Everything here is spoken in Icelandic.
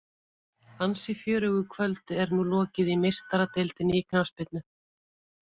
Ansi fjörugu kvöldi er nú lokið í Meistaradeildinni í knattspyrnu.